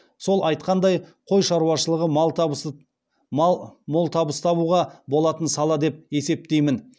сол айтқандай қой шаруашылығы мол табыс табуға болатын сала деп есептеймін